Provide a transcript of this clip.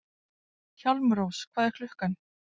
Hjálmrós, hvað er klukkan?